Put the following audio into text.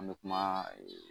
An be kuma ee